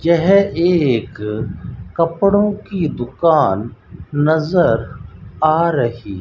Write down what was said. यह एक कपड़ों की दुकान नजर आ रही --